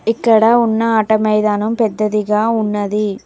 ఇక్కడ ఉన్న ఆట మైదానం పెద్దదిగా ఉన్నది.